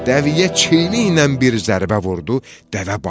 Dəviyə çiyiniylə bir zərbə vurdu, dəvə bağırdı.